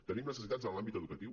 tenim necessitats en l’àmbit educatiu